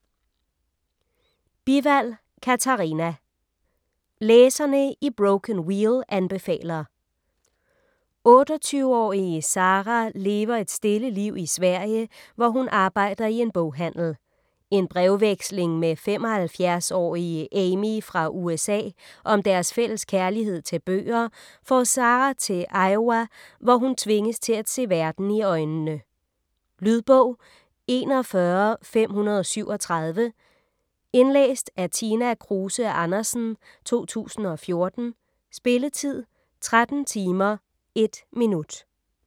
Bivald, Katarina: Læserne i Broken Wheel anbefaler 28-årige Sara lever et stille liv i Sverige, hvor hun arbejder i en boghandel. En brevveksling med 75-årige Amy fra USA om deres fælles kærlighed til bøger får Sara til Iowa, hvor hun tvinges til at se verden i øjnene. Lydbog 41537 Indlæst af Tina Kruse Andersen, 2014. Spilletid: 13 timer, 1 minutter.